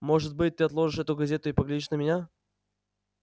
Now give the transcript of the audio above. может быть ты отложишь эту газету и поглядишь на меня